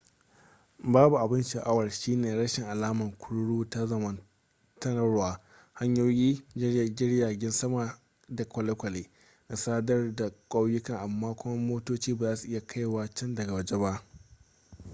babban abin sha'awar shine rashin alama kururu ta zamanantarwa hanyoyi jiragen kasa da kwale-kwale na sadar da kauyukan amma kuma motoci ba za su iya kaiwa can daga waje ba